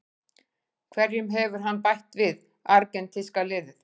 Hverju hefur hann bætt við argentínska liðið?